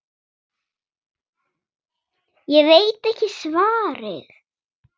Ég veit ekki svarið.